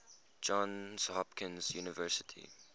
johns hopkins university